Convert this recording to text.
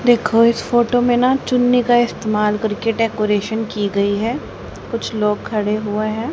देखो इस फोटो में ना चुन्नी का इस्तेमाल करके डेकोरेशन की गई है कुछ लोग खड़े हुए हैं।